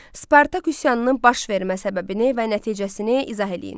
Spartak üsyanının başvermə səbəbini və nəticəsini izah eləyin.